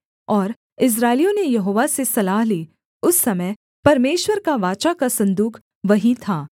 और इस्राएलियों ने यहोवा से सलाह ली उस समय परमेश्वर का वाचा का सन्दूक वहीं था